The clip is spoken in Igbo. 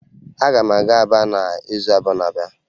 Aga m aga Aba n'izu abụọ na-abịa